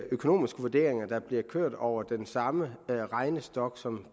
økonomiske vurderinger der bliver kørt over den samme regnestok som